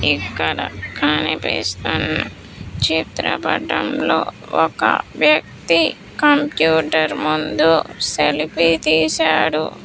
ఇక్కడ కనిపిస్తున్న చిత్రపటంలో ఒక వ్యక్తి కంప్యూటర్ ముందు సెల్ఫీ తీశాడు.